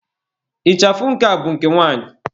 Ịchafụ nke a bụ nke nwanyị.